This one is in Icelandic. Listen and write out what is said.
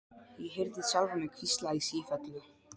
Ég heyrði sjálfa mig hvísla í sífellu